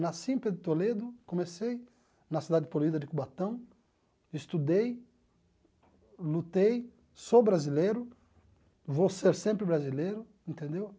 Nasci em Pedro de Toledo, comecei na cidade poluída de Cubatão, estudei, lutei, sou brasileiro, vou ser sempre brasileiro, entendeu?